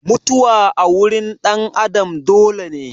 Mutuwa a wurin ɗan Adam dole ne.